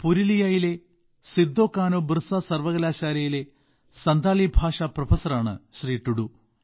പുരുലിയയിലെ സിദ്ധോകാനോബിർസ സർവകലാശാലയിലെ സന്താലി ഭാഷാ പ്രൊഫസറാണ് ടുഡു